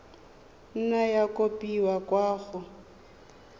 nna ya kopiwa kwa go